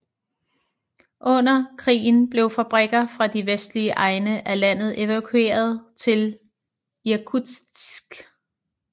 Under krigen blev fabrikker fra de vestlige egne af landet evakueret til Irkutsk